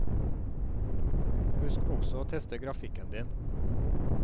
Husk også å teste grafikken din.